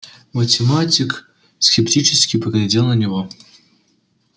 математик скептически поглядел на него